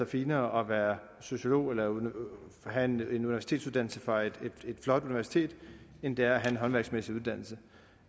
finere at være sociolog eller have en universitetsuddannelse fra et flot universitet end det er at have en håndværksmæssig uddannelse